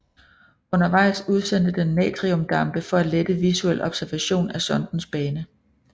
Undervejs udsendte den natriumdampe for at lette visuel observation af sondens bane